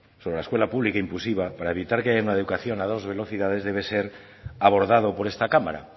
sobre la escuela pública inclusiva para evitar que haya una educación a dos velocidades debe ser abordado por esta cámara